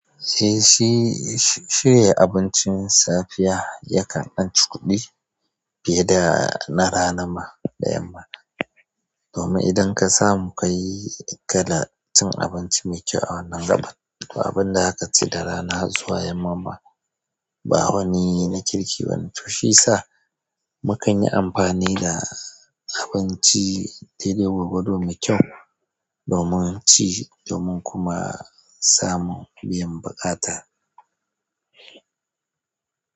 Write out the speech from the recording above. Eh shi, shirya abincin safiya yakan ɗanci kuɗi fiye da na rana ma da yamma. Domin idan ka samu ka yi ɗi ka cin abinci mai kyau a wannan gaɓan abin da za ka ci da rana zuwa yamma ba wani na kirki ba. To shiyasa mu kan yi amfani da abinci daidai gwargwado mai kyau domin ci domin kuma samun biyan buƙata.